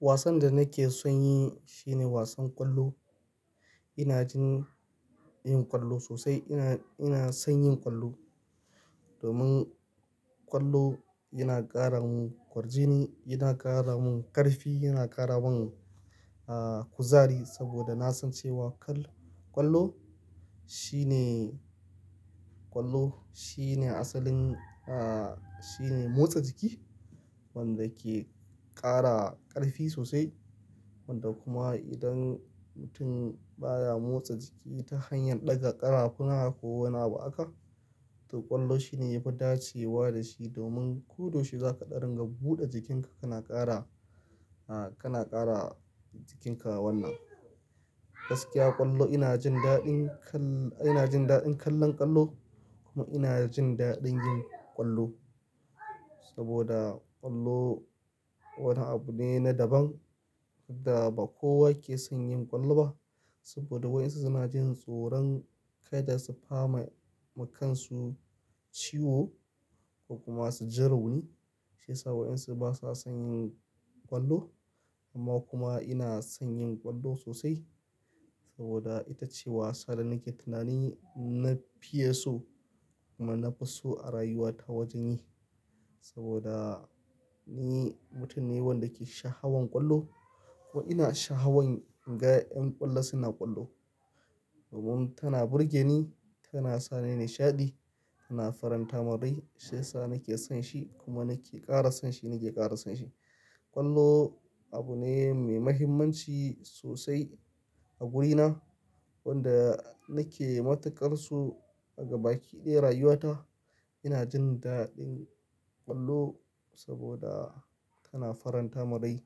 Wasan da nake son yi shine wasan ƙwallo. Ina jin yin ƙwallo sosai. Ina, ina son yin ƙwallo domin ƙwallo yana ƙara mun ƙwarjini, yana ƙara mun ƙarfi, yana ƙara mun, ah, kuzari saboda na san cewa kal-- ƙwallo shine, ƙwallo shine asalin, ah, shine motsa jiki wanda ke ƙara ƙarfi sosai wanda kuma idan mutum baya motsa jiki ta hanyar ɗaga ƙarafuna ko wane ba aka, to ƙwallo shine yafi dacewa da shi domin ko da shiga ka ɗaringa buɗe jikinka kana ƙara, ah, kana ƙara jikinka wannan. Gaskiya ƙwallo ina jin daɗin kal-- ina jin daɗin kallon ƙwallo kuma ina jin daɗin yin ƙwallo saboda ƙwallo wani abu ne na daban wanda ba kowa ke son yin ƙwallo ba saboda waesu suna jin tsoron kai da sufa ma, makansu ciwo ko kuma su ji rauni shi ya sa waɗansu basa son yin ƙwallo. Amma kuma ina son yin ƙwallo sosai saboda ita ce wasa da nake tunani na fiye so kuma na fi so a rayuwata wajen yi saboda ni mutum ne wanda ke sha hawan ƙwallo kuma ina sha hawan in ga ƴan ƙwallo suna ƙwallo. Umm tana burge ni, tana sa ni nishaɗi, tana faranta ma rai shi ya sa nake son shi kuma nake ƙara son shi, nake ƙara son shi. Ƙwallo abu ne mai mahimmanci sosai a wurina wanda nake matukar su a gabaki ɗaya rayuwata. Ina jin daɗin ƙwallo saboda tana faranta marai,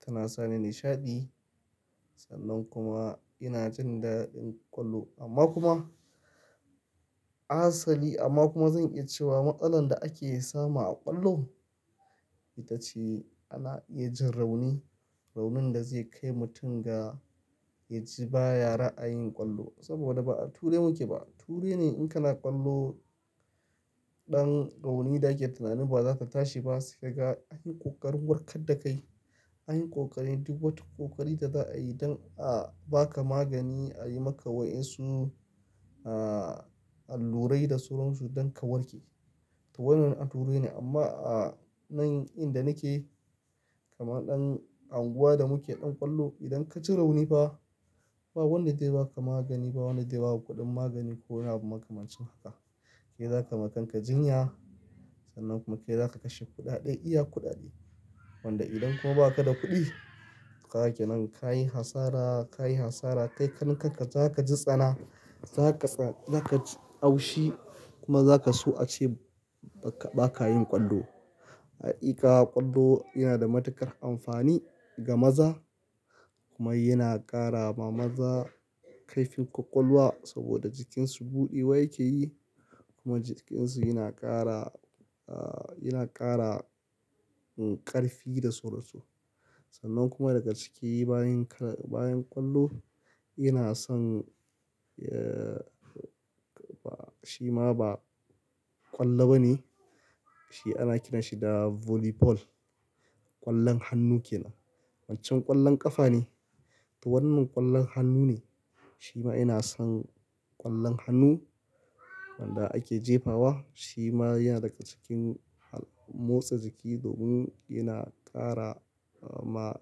tana sa ni nishaɗi sannan kuma ina jin daɗin ƙwallo. Amma kuma asali amma kuma zan iya cewa matsalar da ake samu a ƙwallo ita ce ana iya jin rauni. Raunin da zai kai mutum ga ya ji baya ra'ayin ƙwallo saboda ba a ture muke ba. Ture ne in kana ƙwallo ɗan rauni da ake tunani ba za ta tashi ba sai ka ga anyi ƙoƙarin warkar da kai. Anyi ƙoƙari duk wata ƙoƙari da za a yi don a ba ka magani, a yi maka waɗansu, ah, allurai da sauran su don ka warke. To wannan a ture ne amma a nan inda nake kamar ɗan anguwa da muke ɗan ƙwallo idan ka ji rauni ba, ba wanda zai ba ka magani ba, wanda zai ba kudin magani ko wani abu makamancin haka. Ke zaka makanka jinya sannan kuma ke zaka kashe kuɗaɗe iya kuɗaɗe. Wanda idan kuma ba ka da kuɗi, to ka yake nan kayi hasara, kayi hasara kai kan ka zaka ji tsana, zaka tsan-- zaka kaji haushi kuma zaka so a ce ba ka, ba ka yin ƙwallo. Haƙiƙa ƙwallo yana da matuƙar amfani ga maza kuma yana ƙara ma maza karfin ƙwaƙwalwa saboda jikinsu buɗe wa yake yi kuma jikinsu yana ƙara, ah, yana ƙara ƙarfi da sauran su. Sannan kuma daga ciki bayan kala-- bayan ƙwallo ina son, eh, ba shi ma ba ƙwallo ba ne. Shi ana kiranshi da "Volley Ball". Ƙwallon hannu kenan. Wancan ƙwallon ƙafa ne. To wannan ƙwallon hannu ne. Shi ma ina son ƙwallon hannu wanda ake jefa wa. Shi ma yana daga cikin hal-- motsa jiki domin yana ƙara ma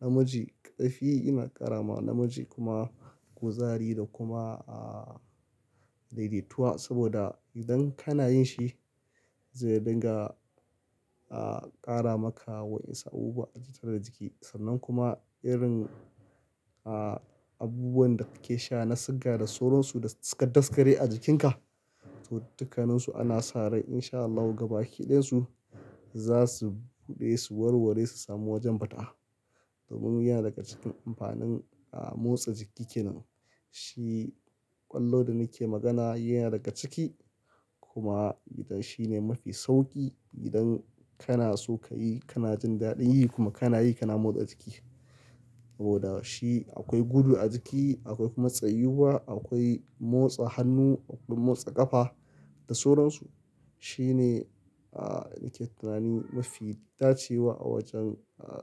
namiji ƙarfi, yana ƙara ma namiji kuma kuzari da kuma, ah, daidaituwa saboda idan kana yin shi zai dinga, ah, ƙara maka waɗansu abubuwa a jikin ka sannan kuma irin, ah, abubuwan da kake sha na siga da sauran su da suka daskare a jikinka. To dukkanninsu ana sare in sha Allahu gaba ki ɗayan su za su buɗe, su warware su samu wajen fita. Domin yana daga cikin amfanin, ah, motsa jiki kenan. Shi ƙwallo da nake magana yana daga ciki kuma idan shine mafi sauƙi idan kana so ka yi, kana jin daɗin yi kuma kana yi kana motsa jiki. Saboda shi akwai gudu a jiki, akwai kuma tsayuwa, akwai motsa hannu, akwai motsa ƙafa da sauran su. Shi ne, ah, nake tunani mafi dacewa a wajen, ah.